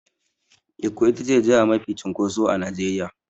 Ikko itace jiha mafi cunkoso a Nigeria.